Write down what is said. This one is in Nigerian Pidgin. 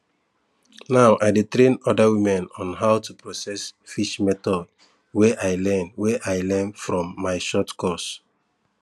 now i dey train other women on how to process fish method wey i learn wey i learn from my short course